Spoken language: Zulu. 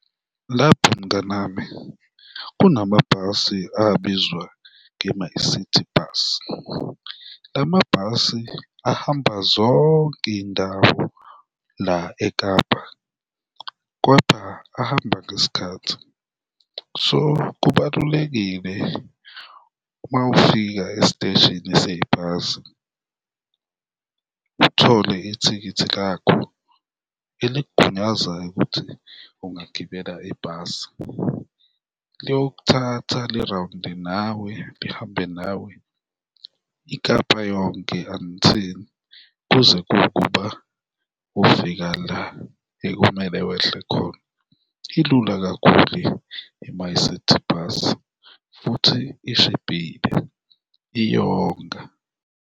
Lapho mnganami, kunama bhasi abizwa nge-MyCiTi Bus, la mabhasi ahamba zonke iy'ndawo la eKapa kodwa ahamba ngesikhathi, so kubalulekile uma ufika esiteshini sebhasi, uthole ithikithi lakho elikugunyazayo ukuthi ungagibela ibhasi. Liyokuthatha li-round-e nawe lihambe nawe iKapa yonke until, kuze kuwukuba ufika la ekumele wehle khona, ilula kakhulu i-MyCiTi bus futhi ishibhile, iyonga.